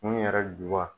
Kun yɛrɛ juba